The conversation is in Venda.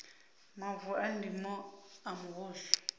mavu a ndimo a muvhuso